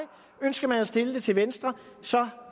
ønsker man at stille det til venstre så er